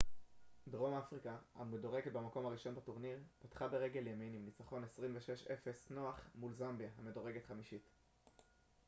דרום אפריקה המדורגת במקום הראשון בטורניר פתחה ברגיל ימין עם ניצחון 26 - 00 נוח מול זמביה המדורגת חמישית